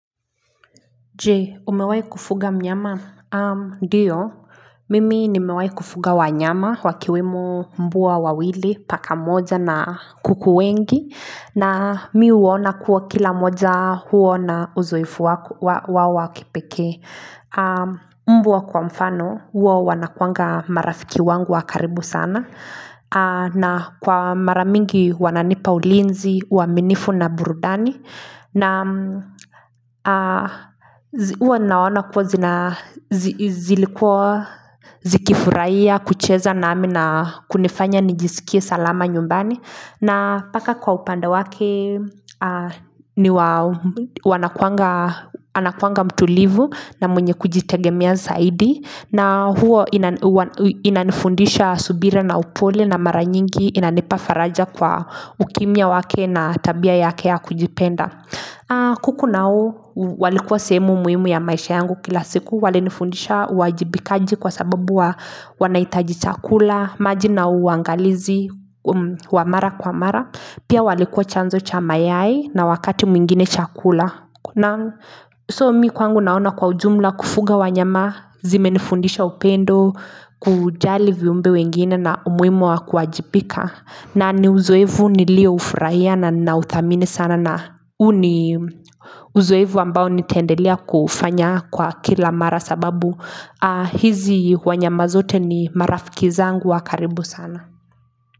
Je, umewai kufuga mnyama? Ndio, mimi nimewahi kufuga wanyama, wakiwemo mbwa wawili, paka mmoja na kuku wengi, na mimi huona kuwa kila mmoja huwa na uzoefu wao wakipekee. Mbwa kwa mfano, huwa wanakuanga marafiki wangu wakaribu sana, na kwa maramingi wananipa ulinzi, uaminifu na burudani, na huwa naona kuwa zilikuwa zikifurahia kucheza namimi na kunifanya nijisikie salama nyumbani na paka kwa upande wake Anakuanga mtulivu na mwenye kujitegemea zaidi na huwa inanifundisha subira na upole na maranyingi inanipafaraja kwa ukimya wake na tabia yake ya kujipenda kuku nao walikua sehemu muhimu ya maisha yangu kila siku walinifundisha uwajibikaji kwa sababu wanahitaji chakula maji na uangalizi wamara kwa mara Pia walikua chanzo chamayai na wakati mwingine chakula So mimi kwangu naona kwa ujumla kufuga wanyama zime nifundisha upendo kujali viumbe wengine na umuhimu wakuwajibika na ni uzoefu nilio ufurahia na ninauthamini sana na uni uzoefu ambao nitaendelea kuufanya kwa kila mara sababu hizi wanyama zote ni marafikizangu wakaribu sana.